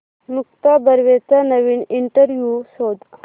मुक्ता बर्वेचा नवीन इंटरव्ह्यु शोध